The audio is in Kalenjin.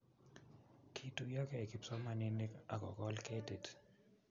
kituyokei kipsomaninik akokol ketik